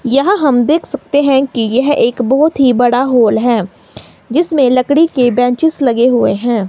यह हम देख सकते हैं कि यह एक बहुत ही बड़ा हॉल है जिसमें लकड़ी के बेंचेज लगे हुए हैं।